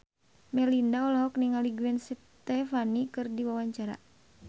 Melinda olohok ningali Gwen Stefani keur diwawancara